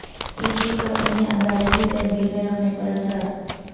ای D کا انہیں عدالتی تحویل میں رکھنے پر اصرار